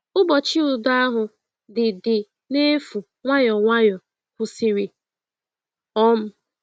Ụbọchị udo ahụ dị dị n’efu nwayọọ nwayọọ kwụsịrị. um